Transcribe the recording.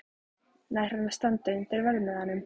Nær hann að standa undir verðmiðanum?